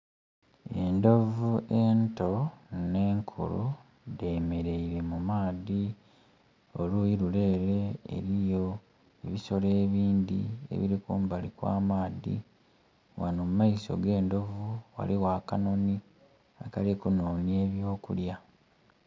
Endhovu ento ne nkulu dhemeleire mu maadhi oluyi lule ere eriyo ebisolo ebindhi ebiri kumbali kw'amaadhi. Wano mu maiso g'endhovu waliwo akanonhi akali kunonya eby'okulya.